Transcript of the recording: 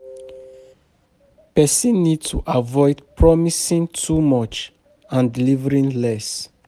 Person need to avoid promising too much and delivering less